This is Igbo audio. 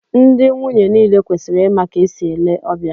Ndị nwunye niile kwesịrị ịma ka e si ele ọbịa